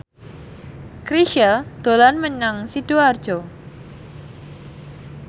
Chrisye dolan menyang Sidoarjo